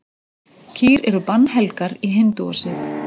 Kýr eru bannhelgar í hindúasið.